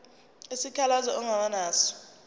isikhalazo ongaba naso